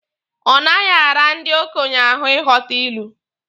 Ọ naghị ara ndị okenye ahụ ịghọta ilu.